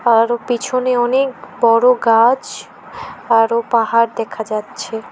আরো পিছনে অনেক বড়ো গাছ আরো পাহাড় দেখা যাচ্ছে।